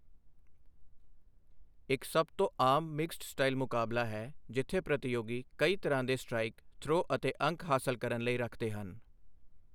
ਇੱਕ ਸਭ ਤੋਂ ਆਮ ਮਿਕਸਡ ਸਟਾਈਲ ਮੁਕਾਬਲਾ ਹੈ, ਜਿੱਥੇ ਪ੍ਰਤੀਯੋਗੀ ਕਈ ਤਰ੍ਹਾਂ ਦੇ ਸਟ੍ਰਾਈਕ, ਥ੍ਰੋਅ ਅਤੇ ਅੰਕ ਹਾਸਲ ਕਰਨ ਲਈ ਰੱਖਦੇ ਹਨ।